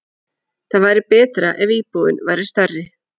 Það væri betra ef íbúðin væri stærri.